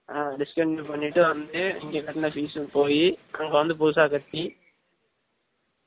ஆ discontinue பன்னிட்டு வந்து இங்க கட்டுன fees உம் போயீ அங்க வந்து புதுசா கட்டி